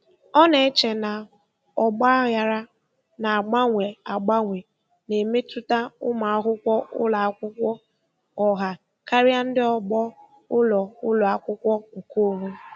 Ọ na-eche na ọgba aghara na-agbanwe agbanwe na-emetụta ụmụ akwụkwọ ụlọ akwụkwọ ọha karịa ndị ọgbọ ụlọ ụlọ akwụkwọ nkeonwe.